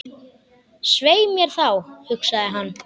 Svei mér þá, hugsaði hann.